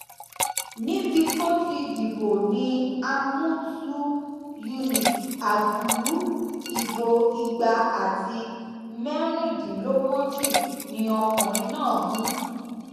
níbi tó ti dìbò ni àmùtù unit àgùlù ìbò igba àti mẹrìndínlógójì ni ọkùnrin náà mú